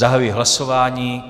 Zahajuji hlasování.